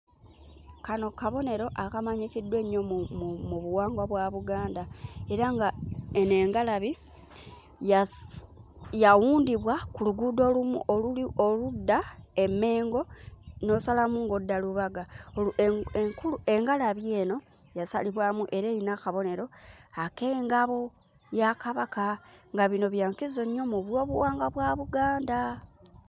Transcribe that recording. Kano kabonero akamanyikiddwa ennyo mu mu mu buwangwa bwa Buganda era nga eno engalabi yasi yawundibwa ku luguudo olumu oluli oludda e Mmengo n'osalamu ng'odda Rubaga, olu enku enkulu engalabi eno yasalibwamu era eyina akabonero ak'engabo ya Kabaka, nga bino bya nkizo nnyo mu byobuwangwa bwa Buganda.